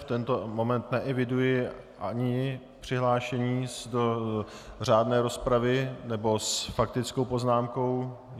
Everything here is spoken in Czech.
V tento moment neeviduji ani přihlášení do řádné rozpravy nebo s faktickou poznámkou.